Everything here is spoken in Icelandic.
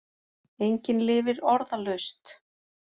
Engin lifir orðalaust.